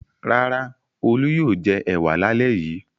Rárá, Olú yóò jẹ ẹ̀wà lálẹ́ yìí.